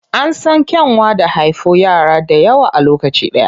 An san kyanwa da haifo yara dayawa a lokaci ɗaya.